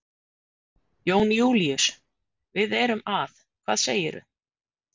Jón Júlíus, við erum að. hvað segirðu?